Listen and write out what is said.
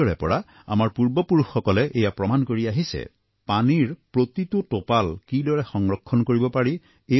অতীজৰে পৰা আমাৰ পূৰ্বপুৰুষসকলে এয়া প্ৰমাণ কৰি আহিছে যে পানীৰ প্ৰতিটো টোপাল কিদৰে সংৰক্ষণ কৰিব পাৰি